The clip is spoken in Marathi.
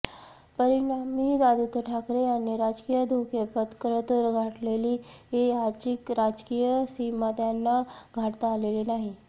परिणामी आदित्य ठाकरे यांनी राजकीय धोके पत्करत गाठलेली आजची राजकीय सीमा त्यांना गाठता आलेली नाही